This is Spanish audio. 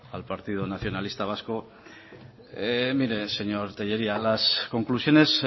al partido nacionalista vasco mire señor tellería las conclusiones